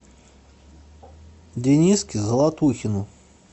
дениске золотухину